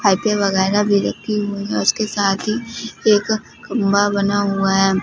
वगैरह भी रखी हुई है उसके साथ ही एक खंभा बना हुआ है।